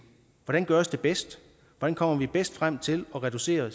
hvordan gøres det bedst hvordan kommer vi bedst frem til at reducere